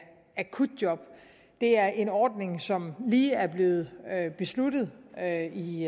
akutjob det er en ordning som lige er blevet besluttet her i